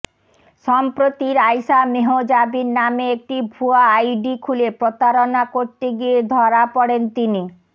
সম্প্রতি রাইসা মেহজাবিন নামে একটি ভুয়া আইডি খুলে প্রতারণা করতে গিয়ে ধরা পড়েন তিনি